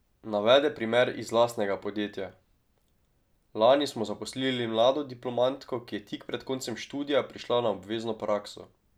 Navede primer iz lastnega podjetja: "Lani smo zaposlili mlado diplomantko, ki je tik pred koncem študija prišla na obvezno prakso.